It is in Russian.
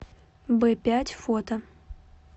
бэпять фото